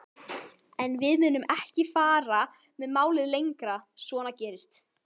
En við munum ekki fara með málið lengra, svona gerist